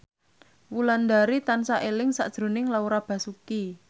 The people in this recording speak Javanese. Wulandari tansah eling sakjroning Laura Basuki